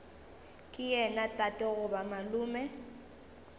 ke yena tate goba malome